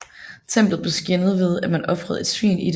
Templet blev skændet ved at man ofrede et svin i det